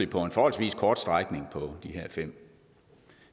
på en forholdsvis kort strækning på de her fem